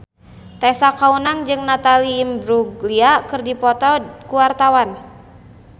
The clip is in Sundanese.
Tessa Kaunang jeung Natalie Imbruglia keur dipoto ku wartawan